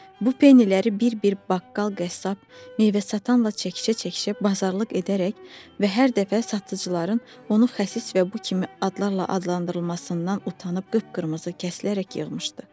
Bu penniləri bir-bir baqqal, qəssab, meyvə-satanla çəkişə-çəkişə bazarlıq edərək və hər dəfə satıcıların onu xəsis və bu kimi adlarla adlandırılmasından utanıb qıpqırmızı kəsilərək yığmışdı.